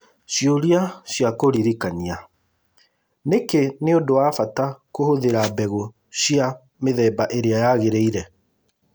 Ciũria ciakũririkania: Nĩkĩ nĩ ũndũ wa bata kũhũthĩra mbegũ cia mĩthemba ĩrĩa yagĩrĩire?